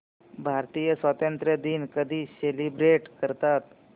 भारतीय स्वातंत्र्य दिन कधी सेलिब्रेट करतात